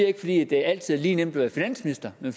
ikke fordi der altid er lige nemt at være finansminister men